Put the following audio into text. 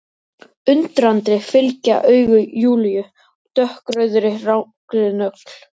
Undrandi fylgja augu Júlíu dökkrauðri langri nögl.